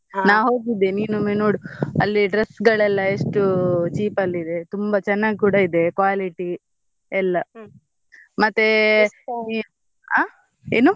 ನಾನ್ ಹೋಗಿದ್ದೆ ನಿನ್ ಒಮ್ಮೆ ನೋಡ್ ಅಲ್ಲಿ dress ಗಳೆಲ್ಲ ಎಷ್ಟು cheap ಅಲ್ಲಿ ಇದೆ ತುಂಬಾ ಚೆನ್ನಾಗ್ ಕೂಡ ಇದೆ quality ಎಲ್ಲ ಮತ್ತೆ ಆ ಏನು?